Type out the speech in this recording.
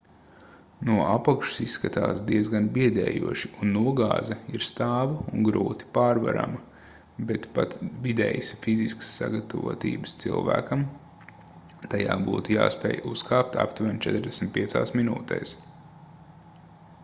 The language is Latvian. no apakšas izskatās diezgan biedējoši un nogāze ir stāva un grūti pārvarama bet pat vidējas fiziskās sagatavotības cilvēkam tajā būtu jāspēj uzkāpt aptuveni 45 minūtēs